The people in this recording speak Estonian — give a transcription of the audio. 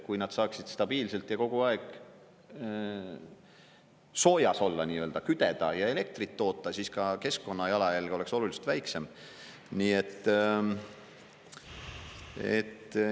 Kui nad saaksid stabiilselt ja kogu aeg soojas olla nii-öelda, küdeda ja elektrit toota, siis ka keskkonnajalajälg oleks oluliselt väiksem.